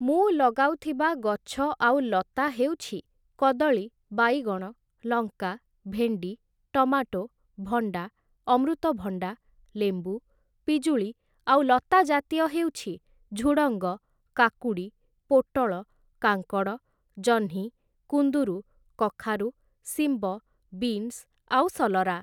ମୁଁ ଲଗାଉଥିବା ଗଛ ଆଉ ଲତା ହେଉଛି କଦଳୀ, ବାଇଗଣ, ଲଙ୍କା, ଭେଣ୍ଡି, ଟମାଟୋ, ଭଣ୍ଡା, ଅମୃତ ଭଣ୍ଡା, ଲେମ୍ବୁ, ପିଜୁଳି ଆଉ ଲତା ଜାତୀୟ ହେଉଛି ଝୁଡ଼ଙ୍ଗ, କାକୁଡ଼ି, ପୋଟଳ, କାଙ୍କଡ଼, ଜହ୍ନି, କୁନ୍ଦୁରୁ, କଖାରୁ, ଶିମ୍ବ, ବିନ୍ସ ଆଉ ସଲରା